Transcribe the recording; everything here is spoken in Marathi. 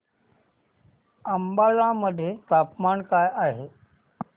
अंबाला मध्ये तापमान काय आहे